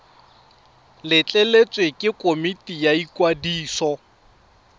letleletswe ke komiti ya ikwadiso